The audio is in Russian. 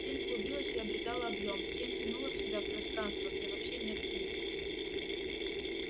тень клубилась и обретала объём тень тянула в себя в пространство где вообще нет теней